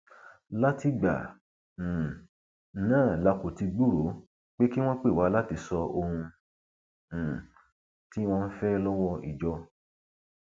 látìgbà um náà la kò ti gbúròó pé kí wọn pè wá láti sọ ohun um tí wọn ń fẹ lọwọ ìjọ